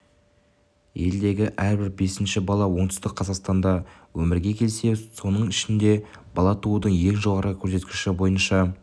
елдегі әрбір бесінші бала оңтүстік қазақстанда өмірге келсе соның ішінде бала туудың ең жоғары көрсеткіші бойынша